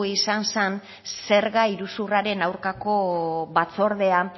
izan zan zerga iruzurraren aurkako batzordean